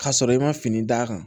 K'a sɔrɔ i ma fini d'a kan